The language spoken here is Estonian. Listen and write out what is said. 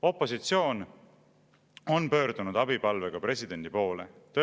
Opositsioon on pöördunud presidendi poole abipalvega.